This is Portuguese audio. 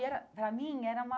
E era, para mim, era uma...